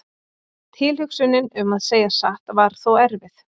Tilhugsunin um að segja satt var þó erfið.